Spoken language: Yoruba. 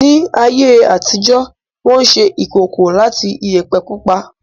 Ní ayé àtijó, Wọ́n ṣe ìkòkò láti Iyẹ̀pẹ̀ pupa